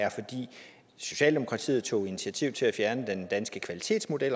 socialdemokratiet tog initiativ til at fjerne den danske kvalitetsmodel